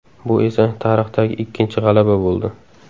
Bu esa tarixdagi ikkinchi g‘alaba bo‘ldi.